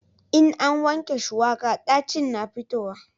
in an wanke shuwaka ɗacin na fitowa